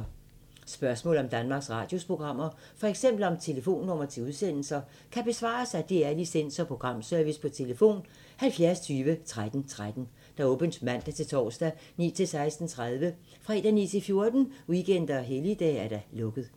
Spørgsmål om Danmarks Radios programmer, f.eks. om telefonnumre til udsendelser, kan besvares af DR Licens- og Programservice: tlf. 70 20 13 13, åbent mandag-torsdag 9.00-16.30, fredag 9.00-14.00, weekender og helligdage: lukket.